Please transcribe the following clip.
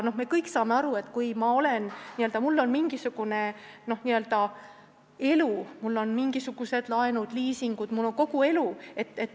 Me kõik saame aru, et inimestel on mingisugused laenud-liisingud, neil on siin kogu elu.